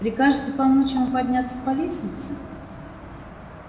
прикажете помочь ему подняться по лестнице